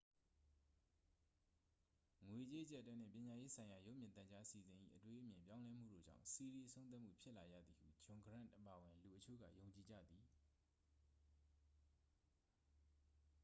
ငွေကြေးအကျပ်အတည်းနှင့် ပညာရေးဆိုင်ရာ ရုပ်မြင်သံကြား အစီအစဉ်၏ အတွေးအမြင် ပြောင်းလဲမှုတို့ကြောင့် စီးရီး အဆုံးသတ်မှုဖြစ်လာရသည်ဟု ဂျွန်ဂရန့်အပါအဝင် လူအချို့က ယုံကြည်ကြသည်